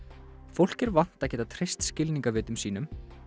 fólk er vant að geta treyst skilningarvitum sínum